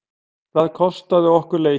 Það kostaði okkur leikinn.